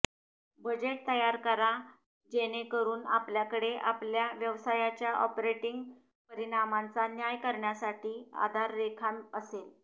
budget तयार करा जेणेकरून आपल्याकडे आपल्या व्यवसायाच्या ऑपरेटिंग परिणामांचा न्याय करण्यासाठी आधाररेखा असेल